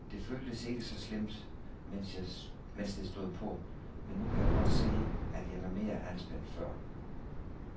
Det føltes ikke så slemt, mens det stod på, men nu kan jeg godt se, at jeg var mere anspændt før.